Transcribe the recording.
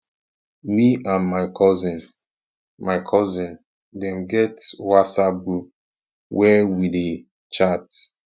me and my cousin my cousin dem get whatsapp group where we dey chat